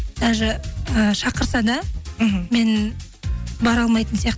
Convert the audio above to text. даже і шақырса да мхм мен бара алмайтын сияқтымын